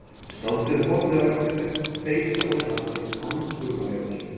Skáldið horfði á eftir þeim þeysa úr hlaði angurvær á svip.